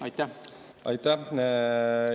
Aitäh!